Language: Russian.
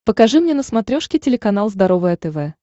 покажи мне на смотрешке телеканал здоровое тв